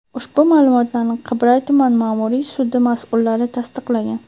Ushbu ma’lumotlarni Qibray tuman ma’muriy sudi mas’ullari tasdiqlagan.